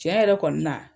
Tiɲɛ yɛrɛ kɔni na